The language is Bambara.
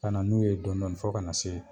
Ka na n'u ye dɔnidɔni fɔ ka na se